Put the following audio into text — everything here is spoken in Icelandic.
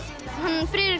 Friðrik